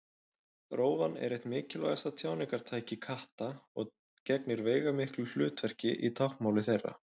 Rófan er eitt mikilvægasta tjáningartæki katta og gegnir veigamiklu hlutverki í táknmáli þeirra.